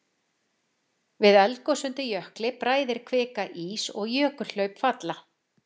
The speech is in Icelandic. Við eldgos undir jökli bræðir kvika ís og jökulhlaup falla.